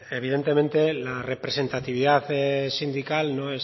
evidentemente la representatividad sindical no